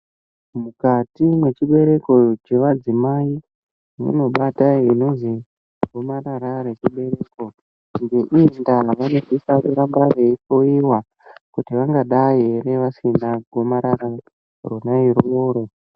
Mukati mwechibereko chevadzimai munobata inozi gomarara rechibereko ,ngeii ndaa kuramba vaehleiwa kuti vanosisa ramba veihleiwa kuti vanodai ere vasina gomarara rona iroro.